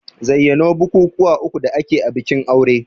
Zayyano bukukuwa uku da ake a bikin aure?